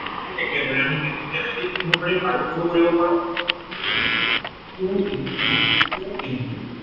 ঠিক একেদৰে আমি কেনেকে, কেনেকে লিখিব পাৰিম। আৰু সৰু কৰিব পাৰো। two into two into